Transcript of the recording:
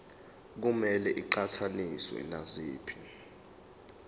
kumele iqhathaniswe naziphi